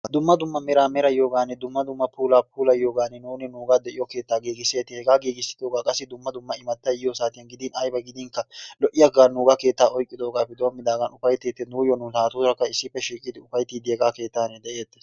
Dumma dumma meraa merayiyooganne dumma dumma puula puulayiyoogan nuuni nuuga de'iyo keettaa giiggisetees. Hegaa giigissidooga qa dumma dumma imattay yiyyo saatiyan gidin aybba gidinkka lo''iyaaga nuuga keettaa oyqqidoogappe doommigaagan ufaytettees. Nuuyo nu naaturaakka issippe shiiqidi ufayttidi hegaa keettan de'eetes.